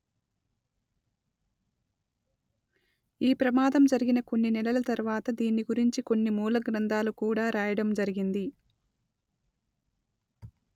ఈ ప్రమాదం జరిగిన కొన్ని నెలల తర్వాత దీన్ని గురించి కొన్ని మూల గ్రంథాలు కూడా రాయడం జరిగింది